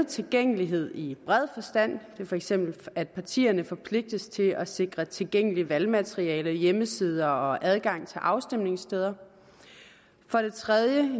tilgængelighed i bred forstand for eksempel at partierne forpligtes til at sikre tilgængeligt valgmateriale hjemmesider og adgang til afstemningssteder for det tredje